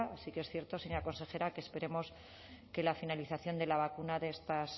sí que es cierto señora consejera que esperemos que la finalización de la vacuna de estos